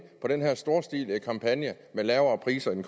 på den her storstilede kampagne med lavere priser i